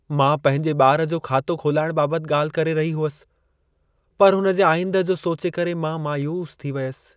मां पंहिंजे ॿार जो खातो खोलाइण बाबति ॻाल्हि करे रही हुअसि, पर हुन जे आईंदह जो सोचे करे मां मायूस थी वियसि।